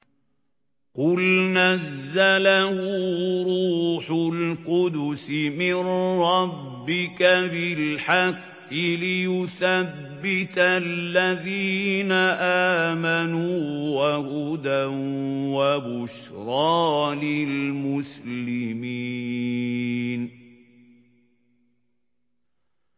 قُلْ نَزَّلَهُ رُوحُ الْقُدُسِ مِن رَّبِّكَ بِالْحَقِّ لِيُثَبِّتَ الَّذِينَ آمَنُوا وَهُدًى وَبُشْرَىٰ لِلْمُسْلِمِينَ